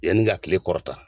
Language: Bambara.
Yanni ka kile kɔrɔ ta.